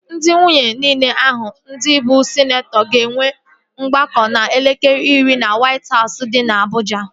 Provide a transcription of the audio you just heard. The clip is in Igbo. Ndị nwunye niile ahụ ndị bụ sịneetọ ga-enwe ọgbakọ n'elekere iri na Wait Hausụ dị na Abụja